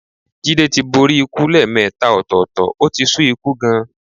Jídé tí borí ikú lẹ́ẹ̀mẹta ọ̀tọ̀ọ̀tọ̀, ó ti sú ikú gan-an.